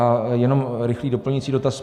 A jenom rychlý doplňující dotaz.